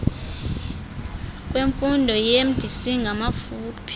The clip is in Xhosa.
lwemfundo iiemdc ngamafuphi